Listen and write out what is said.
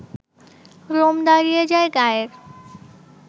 Rome দাঁড়িয়ে যায় গায়ের